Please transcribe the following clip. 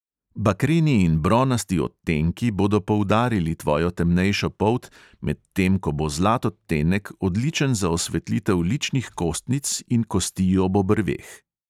Bakreni in bronasti odtenki bodo poudarili tvojo temnejšo polt, medtem ko bo zlat odtenek odličen za osvetlitev ličnih kostnic in kosti ob obrveh.